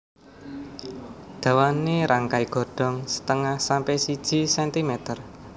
Dawané rangkai Godhong setengah sampe siji sentimer